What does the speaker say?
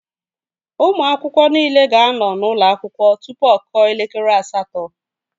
Ụmụ akwụkwọ niile ga-anọ n'ụlọ akwụkwọ tụpụ ọ kụọ elekere asatọ